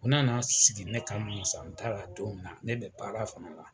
Nko na sigi ne kama san t'a la don min na, ne be baara fana la.